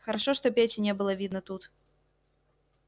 хорошо что пети не было видно тут